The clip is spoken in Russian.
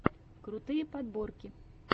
крутые подборки